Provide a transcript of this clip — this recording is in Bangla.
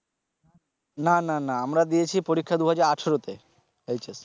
না না না আমরা দিয়েছি পরিক্ষা দুই হাজার আঠারোতে